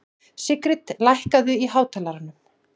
Sigrid, lækkaðu í hátalaranum.